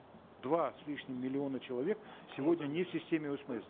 два с лишним миллиона человек сегодня не в системе осмс